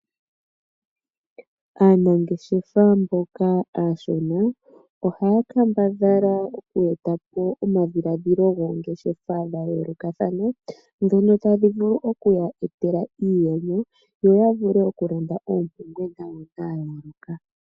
Aanangeshefa mboka aashona ohaya kambadhala oku etapo omadhilaadhilo goongeshefa dha yoolokathana ndhono tadhi vulu okuya etela iiyemo yo yavule oku landa oompumbwe dhawo